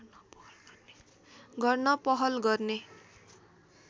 गर्न पहल गर्ने